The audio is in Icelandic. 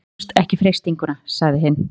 Og stóðumst ekki freistinguna sagði hinn.